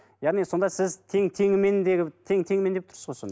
яғни сонда сіз тең теңімен тең теңімен деп тұрсыз ғой сонда